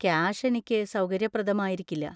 Cash എനിക്ക് സൗകര്യപ്രദമായിരിക്കില്ല.